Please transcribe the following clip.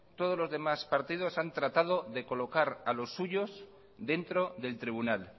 todos los demás partidos han tratado de colocar a los suyos dentro del tribunal